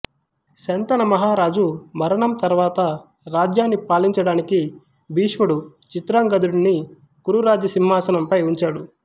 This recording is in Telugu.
శంతన మహారాజు మరణం తరువాత రాజ్యాన్ని పాలించడానికి భీష్ముడు చిత్రాంగదుడిని కురు రాజ్య సింహాసనంపై ఉంచాడు